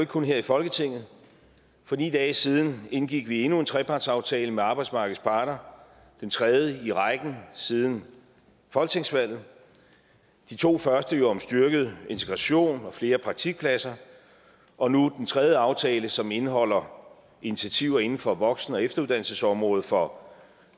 kun her i folketinget for ni dage siden indgik vi endnu en trepartsaftale med arbejdsmarkedets parter den tredje i rækken siden folketingsvalget de to første var jo om styrket integration og flere praktikpladser og nu den tredje aftale som indeholder initiativer inden for voksen og efteruddannelsesområdet for